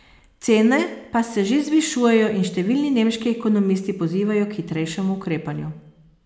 Cene pa se že zvišujejo in številni nemški ekonomisti pozivajo k hitrejšemu ukrepanju.